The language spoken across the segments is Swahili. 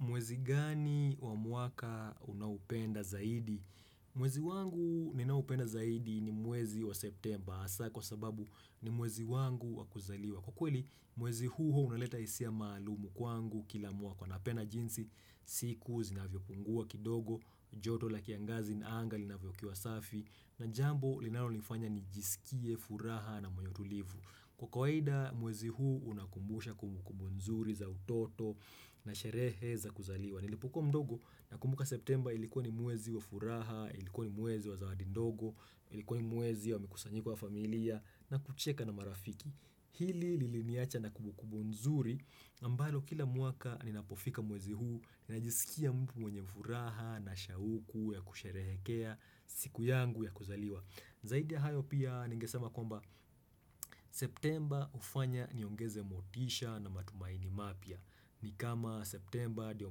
Mwezi gani wa mwaka unaupenda zaidi? Mwezi wangu ninaoupenda zaidi ni mwezi wa septemba hasa kwa sababu ni mwezi wangu wa kuzaliwa. Kwa kweli mwezi huo unaleta hisia malumu kwangu kila mwaka napenda jinsi siku zinavyopungua kidogo joto la kiangazi na anga inavyokiwa safi na jambo linalonifanya nijisikie furaha na mwenye utulivu. Kwa kawaida mwezi huu unakumbusha kumbukumbu nzuri za utoto na sherehe za kuzaliwa. Nilipokuwa mdogo nakumbuka septemba ilikuwa ni mwezi wa furaha, ilikuwa ni mwezi wa zawadi ndogo, ilikuwa ni mwezi wa mikusanyiko wa familia na kucheka na marafiki. Hili liliniacha na kumbukumbu nzuri ambalo kila mwaka ninapofika mwezi huu, ninajisikia mtu mwenye furaha na shauku ya kusherehekea, siku yangu ya kuzaliwa. Zaidi ya hayo pia ningesema kwamba septemba hufanya niongeze motisha na matumaini mapya. Ni kama septemba ndio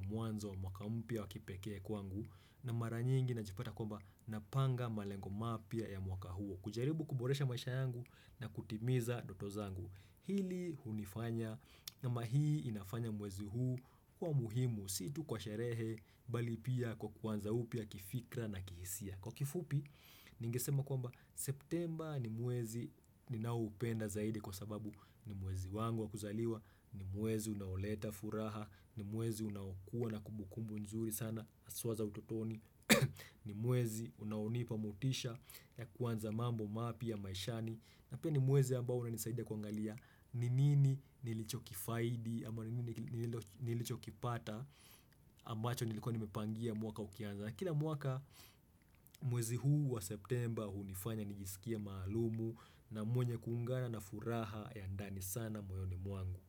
mwanzo wa mwaka mpya wa kipekee kwangu na mara nyingi najipata kwamba napanga malengo mapya ya mwaka huo. Kujaribu kuboresha maisha yangu na kutimiza ndoto zangu. Hili hunifanya namba hii inafanya mwezi huu kuwa muhimu si tu kwa sherehe bali pia kwa kuanza upya kifikra na kihisia. Kwa kifupi, ningesema kwamba septemba ni mwezi ninaoupenda zaidi kwa sababu ni mwezi wangu wa kuzaliwa, ni mwezi unaoleta furaha, ni mwezi unaokuwa na kumbukumbu nzuri sana haswa za utotoni, ni mwezi unaonipa motisha ya kuanza mambo mapya maishani. Na pia ni mwezi ambao unanisaida kuangalia ni nini nilichokifaidi ama ni nini nilichokipata ambacho nilikuwa nimepangia mwaka ukianza. Kila mwaka mwezi huu wa septemba hunifanya nijisikie maalumu na mwenye kuungana na furaha ya ndani sana moyoni mwangu.